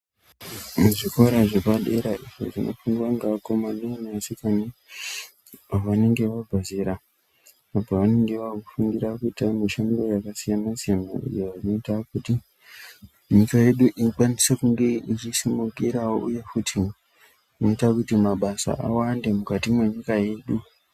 Muzvikora zvepadera izvo zvinofundwa nevakomana nevadikana vanenge vabva zera vanenge vakufundira mushando yakasiyana siyana iyo inoita kuti nyika yedu ikwanise kunge ichisimukirawo uye zvinoita kuti mabasa awande mukati mwenyika yedu.